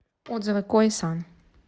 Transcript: отзывы кои сан